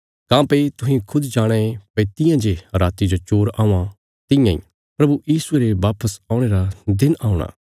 काँह्भई तुहें खुद जाणाँ ये भई तियां जे राति जो चोर औआं तियां इ प्रभु यीशुये रे वापस औणे रा दिन औणे औल़ा